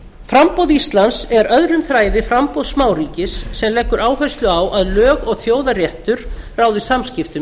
framboð íslands er öðrum þræði framboð smáríkis sem leggur áherslu á að lög og þjóðaréttur ráði samskiptum